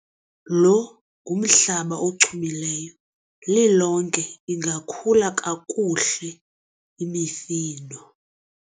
lo ngumhlaba ochumileyo, lilonke ingakhula kakuhle imifuno